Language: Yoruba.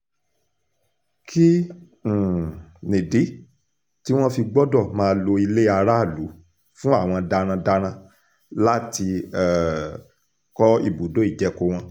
kí um nídìí tí wọ́n fi gbọ́dọ̀ máa lo ilé aráàlú fún àwọn darandaran láti um kọ́ ibùdó ìjẹko wọn